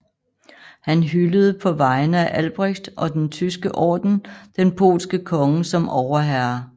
Han hyldede på vegne af Albrecht og den Tyske Orden den polske konge som overherre